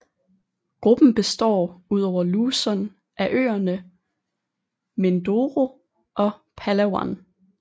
Gruppen består ud over Luzon af øerne Mindoro og Palawan